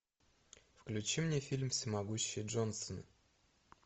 включи мне фильм всемогущий джонсон